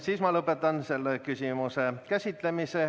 Siis ma lõpetan selle küsimuse käsitlemise.